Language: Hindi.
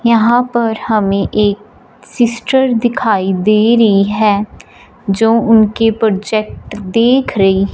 यहां पर हमे एक सिस्टर दिखाई दे रही है जो उनके प्रोजेक्ट देख रही--